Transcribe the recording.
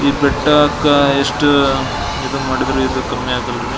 ಈ ಬೆಟ್ಟಕ ಎಷ್ಟು ಇದು ಮಾಡಿದ್ರು ಕಮ್ಮಿ ಆಗಲಾರಿ.